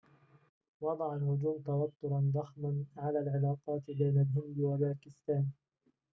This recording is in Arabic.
وضع الهجوم توتراً ضخماً علي العلاقات بين الهند وباكستان